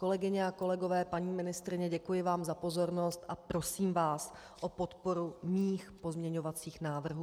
Kolegyně a kolegové, paní ministryně, děkuji vám za pozornost a prosím vás o podporu mých pozměňovacích návrhů.